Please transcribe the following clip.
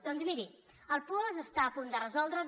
doncs miri el puosc està a punt de resoldre’s